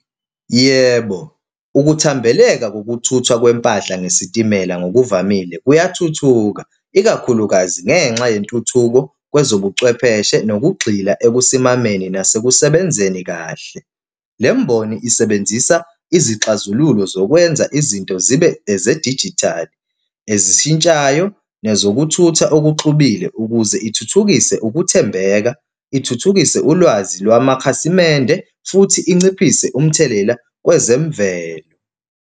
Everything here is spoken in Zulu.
Yebo, ukuthambeleka kokuthuthwa kwempahla ngesitimela ngokuvamile kuyathuthuka ikakhulukazi ngenxa yentuthuko kwezobuchwepheshe nokugxila ekusimameni nasekusebenzeni kahle. Le mboni isebenzisa izixazululo zokwenza izinto zibe ezedijithali, ezishintshayo, nezokuthutha okuxubile ukuze ithuthukise ukuthembeka, ithuthukise ulwazi lwamakhasimende futhi inciphise umthelela kwezemvelo.